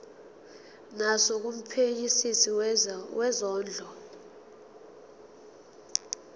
naso kumphenyisisi wezondlo